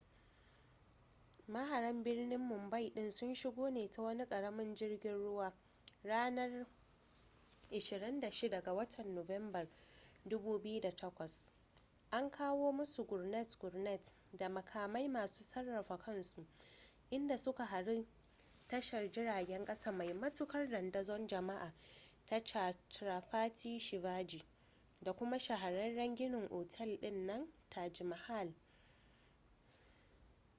maharan birnin mumbai din sun shigo ne ta wani karamin jirgin ruwa ranar 26 ga watan nuwamban 2008 an kawo musu gurnet-gurnet da makamai masu sarrafa kansu inda suka hari tashar jiragen kasa mai matukar dandazon jama'a ta chhatrapati shivaji da kuma shahararren ginin otel din nan na taj mahal